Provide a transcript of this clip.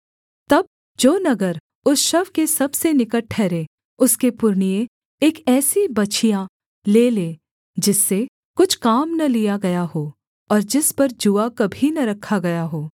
तब जो नगर उस शव के सबसे निकट ठहरे उसके पुरनिये एक ऐसी बछिया ले ले जिससे कुछ काम न लिया गया हो और जिस पर जूआ कभी न रखा गया हो